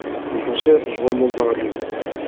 екінші жұбан молдағалиев алған